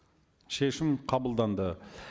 шешім қабылданды